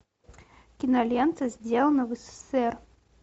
кинолента сделано в ссср